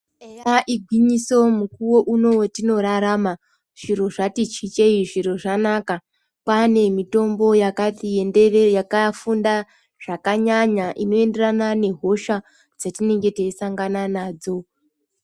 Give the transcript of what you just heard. Eya igwinyiso, mukuwo uno wetinorarama zviro zvatichichei. Zviro zvanaka, kwaanemitombo yakati enderere, yakafunda zvakanyanya. Inoenderana nehosha dzatinenge teisangana nadzo.